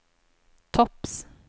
topps